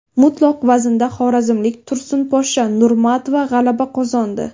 Mutlaq vaznda xorazmlik Tursunposhsha Nurmatova g‘alaba qozondi.